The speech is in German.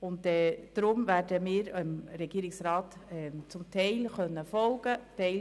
Deshalb werden wir dem Regierungsrat zum Teil folgen können.